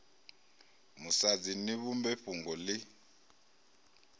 musadzi ni vhumbe fhungo ḽi